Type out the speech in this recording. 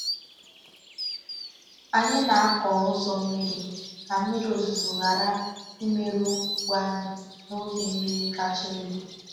Anyị na-akụ ụzọ mmiri ka mmiri ozuzo ghara imerụ ugbo anyị n’oge mmiri kacha elu.